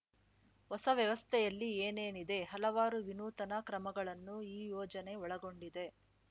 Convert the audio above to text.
ಹೊಸ ವ್ಯವಸ್ಥೆಯಲ್ಲಿ ಏನೇನಿದೆ ಹಲವಾರು ವಿನೂತನ ಕ್ರಮಗಳನ್ನು ಈ ಯೋಜನೆ ಒಳಗೊಂಡಿದೆ